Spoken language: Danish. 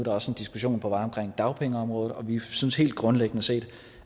også en diskussion på vej om dagpengeområdet vi synes helt grundlæggende set